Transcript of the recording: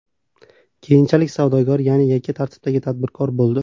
Keyinchalik savdogar, ya’ni yakka tartibdagi tadbirkor bo‘ldi.